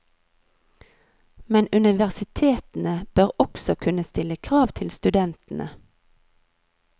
Men universitetene bør også kunne stille krav til studentene.